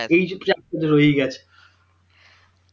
এই রয়েই গেছে